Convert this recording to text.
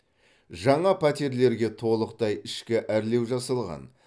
жаңа пәтерлерге толықтай ішкі әрлеу жасалған